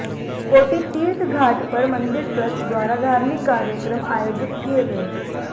कोटितीर्थघाट पर मंदिर ट्रस्ट द्वारा धार्मिक कार्यक्रम आयोजित किए गए